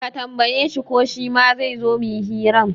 Ka tambaye shi ko shima zaizo muyi hiran?